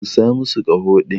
Busa masu kaho din.